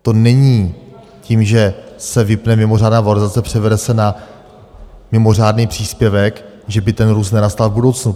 To není tím, že se vypne mimořádná valorizace, převede se na mimořádný příspěvek, že by ten růst nenastal v budoucnu.